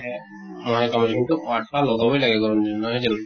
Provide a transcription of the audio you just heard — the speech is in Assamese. হে । মহে কামুৰব কিন্তু আঠোৱা লগাবৈ লাগে গৰম দিনত, নহয় জানো ?